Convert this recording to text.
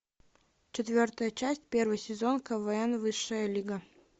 четвертая часть первый сезон квн высшая лига